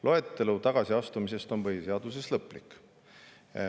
Loetelu tagasiastumise on põhiseaduses lõplik.